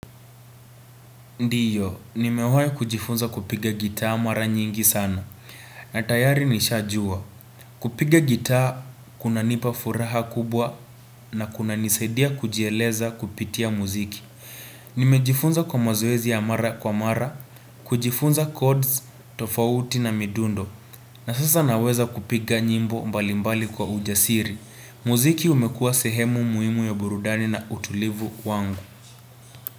Ndiyo nimewahi kujifunza kupiga gitaa mara nyingi sana na tayari nishajua kupiga gitaa kunanipa furaha kubwa na kunanisaidia kujieleza kupitia muziki nimejifunza kwa mazoezi ya mara kwa mara kujifunza codes tofauti na midundo na sasa naweza kupiga nyimbo mbalimbali kwa ujasiri muziki umekua sehemu muhimu ya burudani na utulivu kwangu.